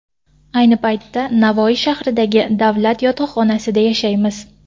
Ayni paytda Navoiy shahridagi davlat yotoqxonasida yashaymiz.